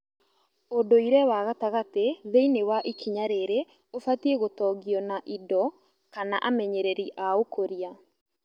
ũndũire wa gatagatĩ thĩinĩ wa ikinya rĩrĩ ũbatie gũtongio na indo kana amenyereri a ũkũria